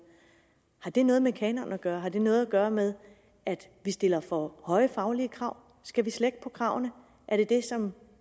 har det noget med kanonen gøre har det noget at gøre med at vi stiller for høje faglige krav skal vi slække på kravene er det det som